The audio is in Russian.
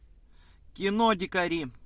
кино дикари